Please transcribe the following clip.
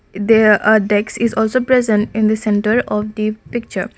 in there are dax is also present in the centre of the picture